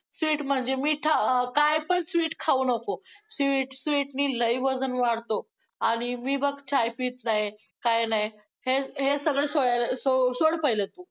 Sweet म्हणजे मीठ~ काय पण sweet खाऊ नको sweet, sweet नी लय वजन वाढतं आणि मी बघ चाय पित नाही, काही नाही. हे, हे सगळं सोड~सोड पहिलं तू!